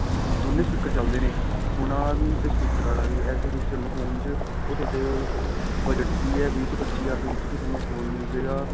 ਦੋਨੇ speaker ਚੱਲਦੇ ਨੇ ਸੁਣਨ ਵਾਲਾ ਵੀ ਤੇ speaker ਵਾਲਾ ਵੀ ਇਸੇ feature phone ਚ ਤੁਹਾਡੇ budget ਚ ਵੀ ਏ ਵੀਹ ਤੋਂ ਪੱਚੀ ਹਜ਼ਾਰ ਦੇ ਵਿੱਚ ਵੀ ਤੁਹਾਨੂੰ phone ਮਿਲ ਜੇ ਗਾ